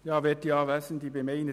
Kommissionspräsident der GSoK.